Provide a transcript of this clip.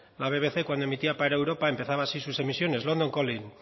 la bbc cuando emitía para europa empezaba así sus emisiones london calling